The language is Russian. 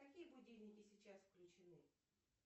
какие будильники сейчас включены